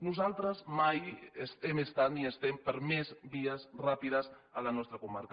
nosaltres mai hem estat ni ho estem per més vies ràpides a la nostra comarca